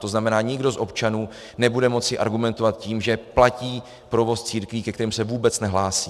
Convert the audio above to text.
To znamená, nikdo z občanů nebude moci argumentovat tím, že platí provoz církví, ke kterým se vůbec nehlásí.